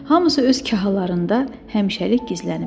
Hamısı öz kahalarında həmişəlik gizləniblər.